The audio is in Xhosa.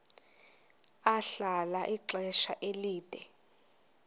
ahlala ixesha elide